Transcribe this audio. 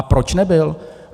A proč nebyl?